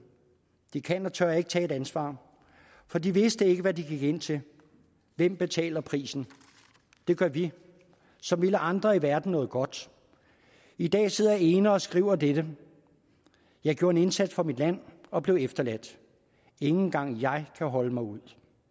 de kan og tør ikke ta´ et ansvar for de vidste ikke hvad de gik ind til hvem betaler prisen det gør vi som ville andre i verden noget godt i dag sidder jeg ene og skriver dette jeg gjorde en indsats for mit land og blev efter ladt ingen gang jeg kan holde mig ud